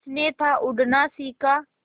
उसने था उड़ना सिखा